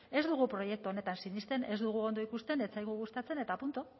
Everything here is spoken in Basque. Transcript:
ez dugu proiektu honetan sinisten ez dugu ondo ikusten ez zaigu gustatzen eta punto